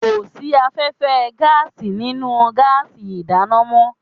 Kò sí afẹ́fẹ́ gáàsì nínú gáàsì ìdáná mọ́